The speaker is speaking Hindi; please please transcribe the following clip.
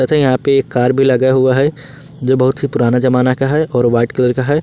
यहां पे एक कार भी लगा हुआ है जो बहुत ही पुराना जमाना का है और वाइट कलर का है।